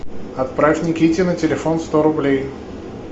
отправь никите на телефон сто рублей